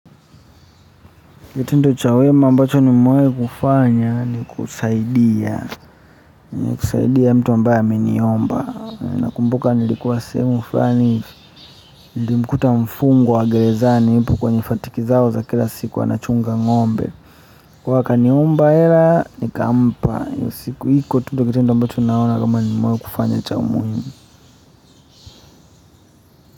Kitendo cha wema ambacho nimewahi kufanya ni kusaidia kusaidia mtu ambaye aminiomba na kumbuka nilikuwa sehemu fulani nilimkuta mfungwa wa gerezani yupo kwenye fatiki zao za kila siku anachunga ngo'mbe kwa hiyo akaniomba hela nikampa hiyo siku iko tu ndo kitendo ambacho naona kama nimewahi kufanya cha muhimu.